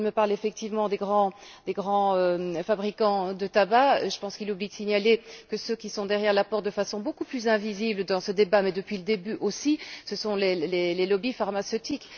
Quand il me parle effectivement des grands fabricants de tabac, je pense qu'il oublie de signaler que ceux qui sont derrière la porte de façon beaucoup plus invisible dans ce débat, mais depuis le début aussi, ce sont les lobbies pharmaceutiques.